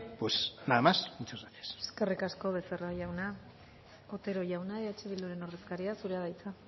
pues nada más muchas gracias eskerrik asko becerra jauna otero jauna eh bilduren ordezkaria zurea da hitza